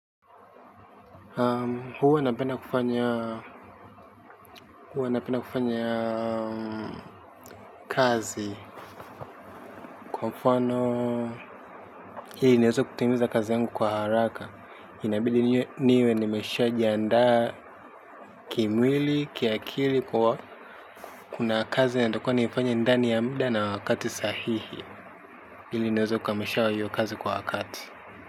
Huwa napenda kufanya, huwa napenda kufanya kazi, kwa mfanoo ili niweze kutimiza kazi yangu kwa haraka. Inabidi niwe nimeshajindaa kimwili, kiakili kwa kuna kazi natatikwa niifanye ndani ya muda na wakati sahihi. Ili niweze kukamilisha wa hiyo kazi kwa wakati.